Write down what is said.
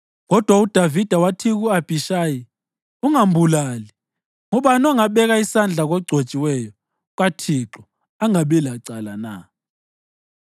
Kodwa uDavida wathi ku-Abhishayi, “Ungambulali. Ngubani ongabeka isandla kogcotshiweyo kaThixo angabi lecala na?”